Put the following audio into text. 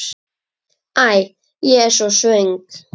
Æ, ég er svo svöng.